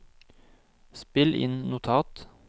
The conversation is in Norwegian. spill inn notat